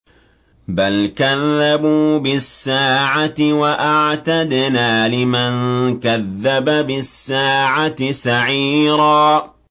بَلْ كَذَّبُوا بِالسَّاعَةِ ۖ وَأَعْتَدْنَا لِمَن كَذَّبَ بِالسَّاعَةِ سَعِيرًا